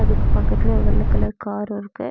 அதுக்கு பக்கத்துல ஒரு வெள்ள கலர் கார் இருக்கு.